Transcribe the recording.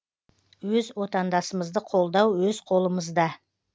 өз отандасымызды қолдау өз қолымызда